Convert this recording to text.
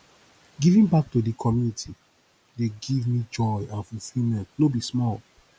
giving back to di community dey give give me joy and fulfillment no be small